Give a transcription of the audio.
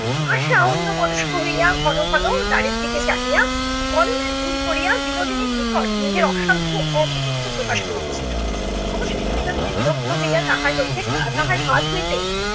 আশা অন্যমনস্ক হইয়া ঘন ঘন দ্বারের দিকে চাহিয়া গণনায় ভুল করিয়া বিনোদিনীর নিকট নিজের অসাধ্য অপটুত্ত প্রকাশ করিতেছিল । অবশেষে বিনোদিনী বিরক্ত হইয়া তাহার হইতে তাহার হাত হইতে